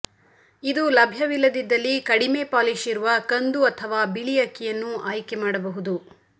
ಇದು ಲಭ್ಯವಿಲ್ಲದಿದ್ದಲ್ಲಿ ಕಡಿಮೆ ಪಾಲಿಶ್ ಇರುವ ಕಂದು ಅಥವಾ ಬಿಳಿ ಅಕ್ಕಿಯನ್ನೂ ಆಯ್ಕೆ ಮಾಡಬಹುದು